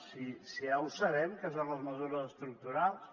si ja ho sabem què són les mesures estructurals